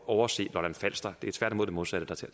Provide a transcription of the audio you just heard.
overse lolland falster det er tværtimod det modsatte